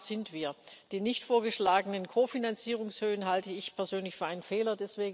In der Gefahr sind wir. Die nicht vorgeschlagenen Kofinanzierungshöhen halte ich persönlich für einen Fehler.